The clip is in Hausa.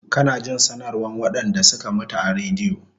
Kana jin sanarwan waɗanɗa suka mutu a radio